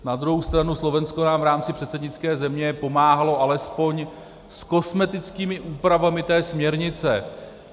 Na druhou stranu Slovensko nám v rámci předsednické země pomáhalo alespoň s kosmetickými úpravami té směrnice.